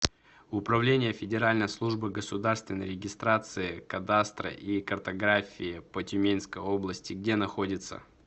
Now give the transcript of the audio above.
управление федеральной службы государственной регистрации кадастра и картографии по тюменской области где находится